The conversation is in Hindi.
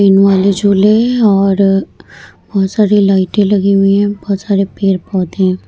ट्रेन वाले झूले है और बहुत सारी लइटे लगी हुई है बहुत सारे पेड़-पौधे है।